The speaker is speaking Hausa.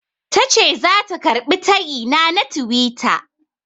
Tace zata karɓi tayina na tiwita.